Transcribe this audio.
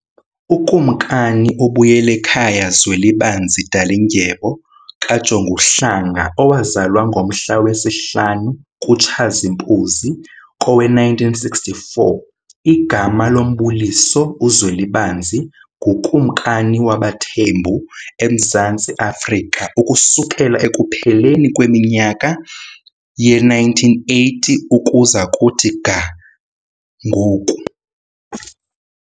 UKumkani uBuyelekhaya Zwelibanzi Dalindyebo KaJonguhlanga, owazalwa ngomhla wesihlanu kuTshazimpuzi kowe1964, igama lombuliso uZwelibanzi, ngukumkani wabaThembu eMzantsi Afrika ukusukela ekupheleni kweminyaka ye1980 ukuza kuthi ga ngoku.